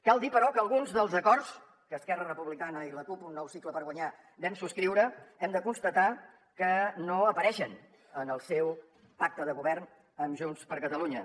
cal dir però que alguns dels acords que esquerra republicana i la cup un nou cicle per guanyar vam subscriure hem de constatar que no apareixen en el seu pacte de govern amb junts per catalunya